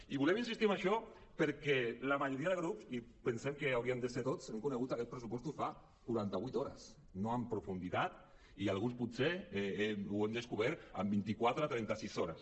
i volem insistir en això perquè la majoria de grups i pensem que hauríem de ser tots hem conegut aquests pressupostos fa quaranta vuit hores no en profunditat i alguns potser els hem descobert fa vint i quatre trenta sis hores